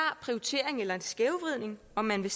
prioritering eller en skævvridning om man vil